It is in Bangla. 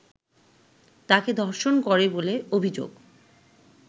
তাঁকে ধর্ষণ করে বলে অভিযোগ